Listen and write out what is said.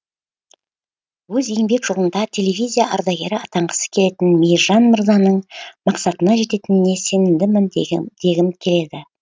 өз еңбек жолында телевизия ардагері атанғысы келетін мейіржан мырзаның мақсатына жететініне сенімдімін дегім келеді